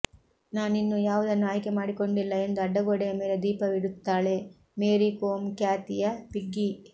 ನಾನಿನ್ನೂ ಯಾವುದನ್ನೂ ಆಯ್ಕೆ ಮಾಡಿಕೊಂಡಿಲ್ಲ ಎಂದು ಅಡ್ಡಗೋಡೆಯ ಮೇಲೆ ದೀಪವಿಡು ತ್ತಾಳೆ ಮೇರಿ ಕೋಂ ಖ್ಯಾತಿ ಯ ಪಿಗ್ಗಿ